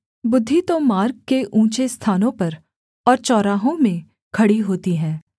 बुद्धि तो मार्ग के ऊँचे स्थानों पर और चौराहों में खड़ी होती है